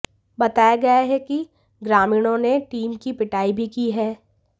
बताया गया है कि ग्रामीणों ने टीम की पिटाई भी की है